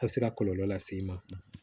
A bɛ se ka kɔlɔlɔ lase i ma